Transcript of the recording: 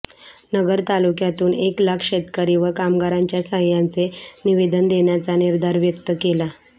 नगर तालुक्यातून एक लाख शेतकरी व कामगारांच्या सह्यांचे निवेदन देण्याचा निर्धार व्यक्त केला